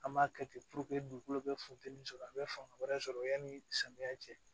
An b'a kɛ ten dugukolo bɛ funteni sɔrɔ a bɛ fanga wɛrɛ sɔrɔ yani samiya cɛ